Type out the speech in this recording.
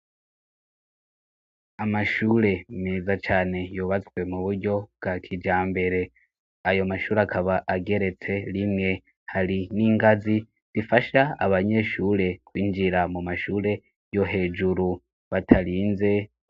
Amashure meza cane yobatswe mu buryo bwa kija mbere ayo mashure akaba ageretse rimwe hari n'ingazi difasha abanyeshure kwinjira mu mashure yo hejuru batarinze.